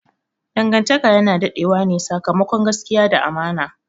Dangantaka yana dade wane sakamakon gaskiya da amana.